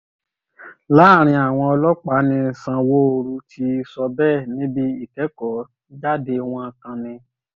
láàrin àwọn ọlọ́pàá ni sanwóoru ti sọ bẹ́ẹ̀ níbi ìkẹ́kọ̀ọ́-jáde wọn kan ni